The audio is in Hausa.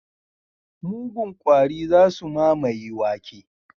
Mugun kwari za su mamaye wake.